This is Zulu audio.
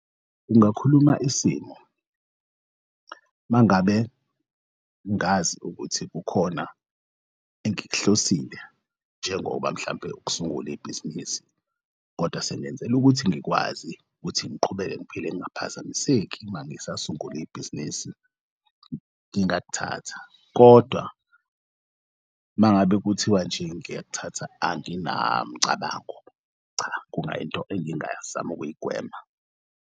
Kungakhuluma isimo mangabe ngazi ukuthi kukhona engik'hlosile njengoba mhlampe ukusungul'ibhizinisi kodwa sengenzel'ukuthi ngikwazi ukuthi ngiqhubeke ngiphile ngingaphazamiseki mangisasungul'bhizinisi. Ngingakuthatha kodwa mangabe kuthiwa nje ngiyakuthatha anginamcabango. Cha, kungayinto engingazama ukuyigwema.